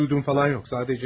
Bir şey duyduğum falan yox.